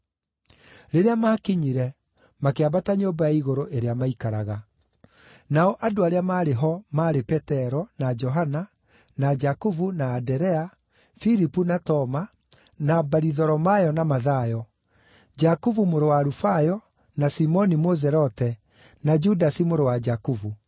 Rĩrĩa maakinyire, makĩambata nyũmba ya igũrũ ĩrĩa maikaraga. Nao andũ arĩa maarĩ ho maarĩ Petero, na Johana, na Jakubu na Anderea; Filipu na Toma, na Baritholomayo na Mathayo; Jakubu mũrũ wa Alufayo, na Simoni Mũzelote, na Judasi mũrũ wa Jakubu.